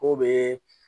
K'o bee